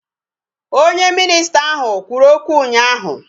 Onye minisita ahụ kwuru okwu ụnyaahụ